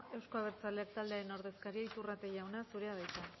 eusko abertzaleak taldearen ordezkaria iturrate jauna zurea da hitza